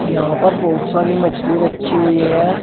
यहां पर बहुत सारी मछली रखी हुई हैं।